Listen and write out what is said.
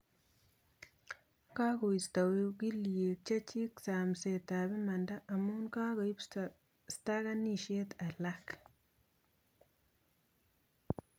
Kagoisto ogilyek chechik samset ab imanda amuu kageip stakanishet alak